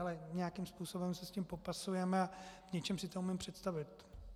Ale nějakým způsobem se s tím popasujeme a v něčem si to umím představit.